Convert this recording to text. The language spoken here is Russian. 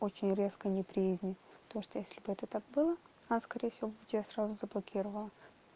очень резко неприязнь то что если бы это так было она скорее всего бы тебя сразу заблокировала